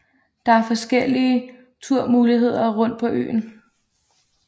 Der er forskellige turmuligheder rundt på øen